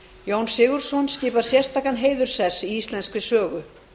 jón sigurðsson skipar sérstakan heiðurssess í íslenskri sögu